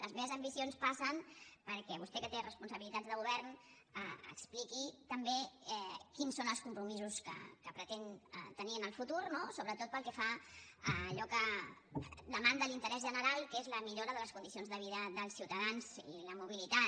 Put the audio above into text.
les meves ambicions passen perquè vostè que té responsabilitats de govern expliqui també quins són els compromisos que pretén tenir en el futur no sobretot pel que fa a allò que demanda l’interès general que és la millora de les condicions de vida dels ciutadans i la mobilitat